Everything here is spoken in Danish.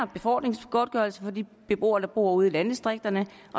befordringsgodtgørelsen for de beboere der bor ude i landdistrikterne